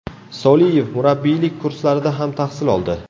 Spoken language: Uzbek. Soliyev murabbiylik kurslarida ham tahsil oldi.